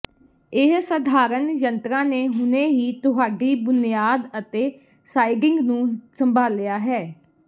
ਇਹ ਸਾਧਾਰਣ ਯੰਤਰਾਂ ਨੇ ਹੁਣੇ ਹੀ ਤੁਹਾਡੀ ਬੁਨਿਆਦ ਅਤੇ ਸਾਈਡਿੰਗ ਨੂੰ ਸੰਭਾਲਿਆ ਹੈ